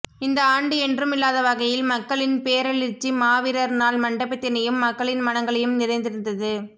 இந்த ஆண்டு என்றுமில்லாத வகையில் மக்களின் பேரெளிச்சி மாவீரர்நாள் மண்டபத்தினையும் மக்களின் மனங்களையும் நிறைத்திருந்தது